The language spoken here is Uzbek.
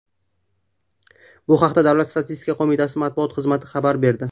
Bu haqda Davlat statistika qo‘mitasi matbuot markazi xabar berdi .